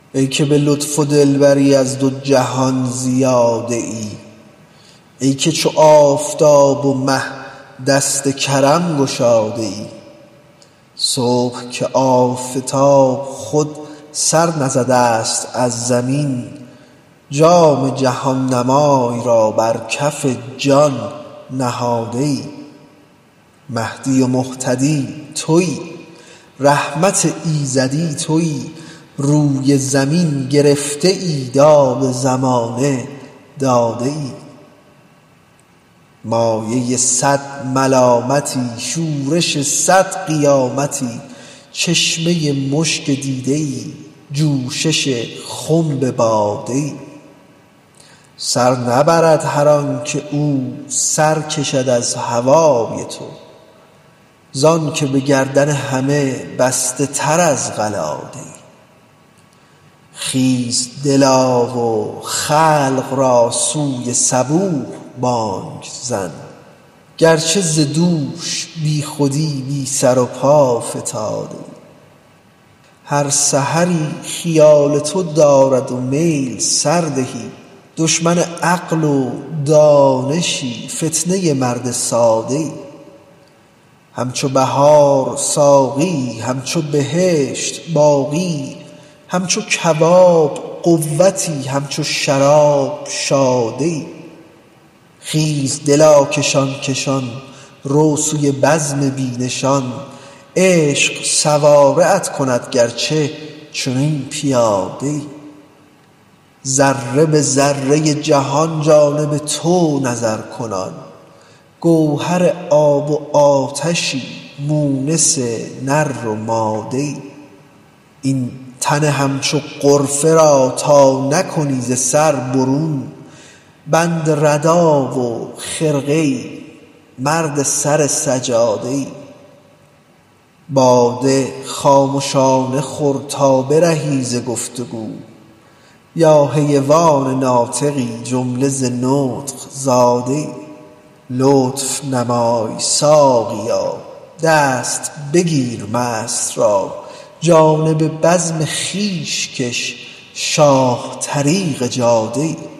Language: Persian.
ای که به لطف و دلبری از دو جهان زیاده ای ای که چو آفتاب و مه دست کرم گشاده ای صبح که آفتاب خود سر نزده ست از زمین جام جهان نمای را بر کف جان نهاده ای مهدی و مهتدی توی رحمت ایزدی توی روی زمین گرفته ای داد زمانه داده ای مایه صد ملامتی شورش صد قیامتی چشمه مشک دیده ای جوشش خنب باده ای سر نبرد هر آنک او سر کشد از هوای تو ز آنک به گردن همه بسته تر از قلاده ای خیز دلا و خلق را سوی صبوح بانگ زن گرچه ز دوش بیخودی بی سر و پا فتاده ای هر سحری خیال تو دارد میل سردهی دشمن عقل و دانشی فتنه مرد ساده ای همچو بهار ساقیی همچو بهشت باقیی همچو کباب قوتی همچو شراب شاده ای خیز دلا کشان کشان رو سوی بزم بی نشان عشق سواره ات کند گرچه چنین پیاده ای ذره به ذره ای جهان جانب تو نظرکنان گوهر آب و آتشی مونس نر و ماده ای این تن همچو غرقه را تا نکنی ز سر برون بند ردا و خرقه ای مرد سر سجاده ای باده خامشانه خور تا برهی ز گفت و گو یا حیوان ناطقی جمله ز نطق زاده ای لطف نمای ساقیا دست بگیر مست را جانب بزم خویش کش شاه طریق جاده ای